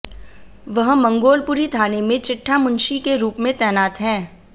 वह मंगोलपुरी थाने में चिट्ठा मुंशी के रूप में तैनात है